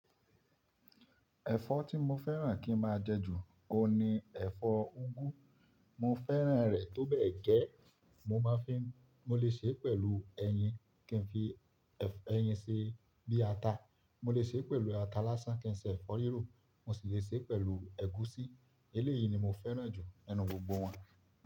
Ẹ̀fọ́ tí mo fẹ́ràn kí n máa jẹ ju, òun ni ẹ̀fọ́ úgú. Mo fẹ́ràn rẹ̀ tó bẹ́ẹ̀ gẹ́, mo máa fi-- mo lè sè é pẹ̀lú ẹyin, kí n fi ẹ-ẹyin sí i bí ata. Mo lè sè é pẹ̀lú ata lásán kí n ṣe ẹ̀fọ́ rírò. Mo sì le sè é pẹ̀lú ẹ̀gúsí. Eléyìí ni mo fẹ́ràn jù nínú gbogbo wọn.